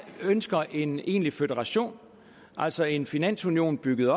ønsker en egentlig føderation altså en finansunion bygget